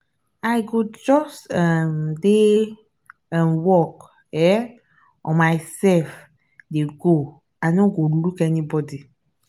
i go just um dey um work um on myself dey go i no go look anybody.